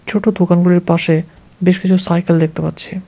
ছোট দোকানগুলোর পাশে বেশ কিছু সাইকেল দেখতে পাচ্ছি।